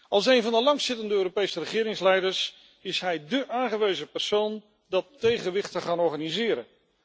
Als een van de langstzittende Europese regeringsleiders is hij dé aangewezen persoon om dat tegenwicht te organiseren.